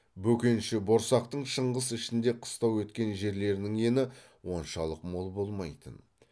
бөкенші борсақтың шыңғыс ішінде қыстау еткен жерлерінің ені оншалық мол болмайтын